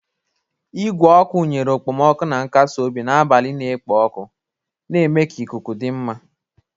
Igwe ọkụ nyere okpomọkụ na nkasi obi n'abalị na-ekpo ọkụ, na-eme ka ikuku dị mma.